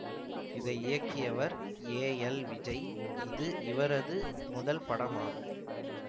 இதை இயக்கியவர் A L Vijay இது இவரது முதல் படமாகும்